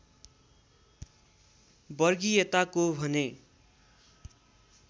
वर्गीयताको भने